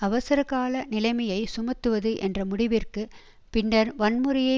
அவசரகால நிலைமையை சுமத்துவது என்ற முடிவிற்கு பின்னர் வன்முறையை